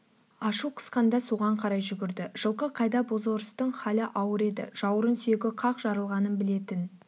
ашу қысқанда соған қарай жүгірді жылқы қайда бозорыстың халі ауыр еді жауырын сүйегі қақ жарылғанын білетін